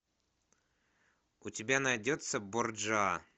у тебя найдется борджиа